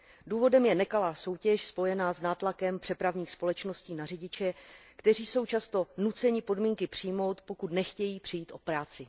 Důvodem je nekalá soutěž spojená s nátlakem přepravních společností na řidiče, kteří jsou často nuceni podmínky přijmout, pokud nechtějí přijít o práci.